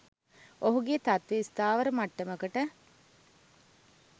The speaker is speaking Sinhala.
ඔහුගේ තත්ත්වය ස්ථාවර මට්ටමකට